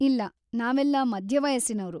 ಇಲ್ಲ, ನಾವೆಲ್ಲ ಮಧ್ಯವಯಸ್ಸಿನೋರು.